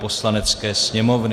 Poslanecké sněmovny